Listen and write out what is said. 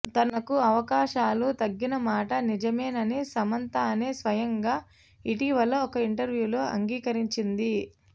తనకు అవకాశాలు తగ్గిన మాట నిజమేనని సమంతనే స్వయంగా ఇటీవల ఒక ఇంటర్వ్యూలో అంగీకరించింది